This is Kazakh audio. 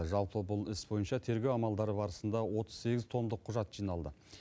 жалпы бұл іс бойынша тергеу амалдары барысында отыз сегіз томдық құжат жиналды